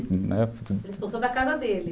Expulsou da casa dele.